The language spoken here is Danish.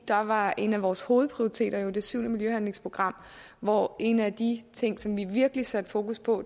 var en af vores hovedprioriteter jo det syvende miljøhandlingsprogram hvor en af de ting som vi virkelig satte fokus på